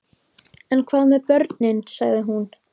En hvað með börnin, sagði hún.